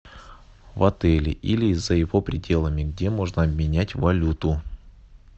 в отеле или за его пределами где можно обменять валюту